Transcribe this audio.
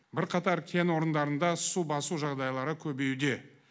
бірқатар кен орындарында су басу жағдайлары көбеюде